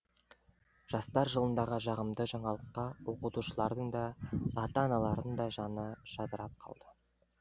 жастар жылындағы жағымды жаңалыққа оқытушылардың да ата аналардың да жаны жадырап қалды